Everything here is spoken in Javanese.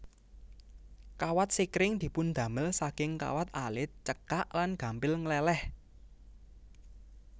Kawat sekring dipundamel saking kawat alit cekak lan gampil ngleleh